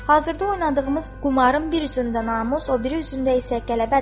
Hazırda oynadığımız qumarın bir üzündə namus, o biri üzündə isə qələbədir.